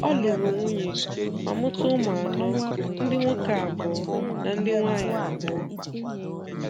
Ọ lụrụ nwunye ma mụta ụmụ anọ; ndị nwoke abụọ na ndị nwaanyị abụọ.